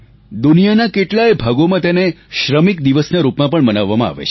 દુનિયાના કેટલાય ભાગોમાં તેને શ્રમિક દિવસ ના રૂપમાં પણ મનાવવામાં આવે છે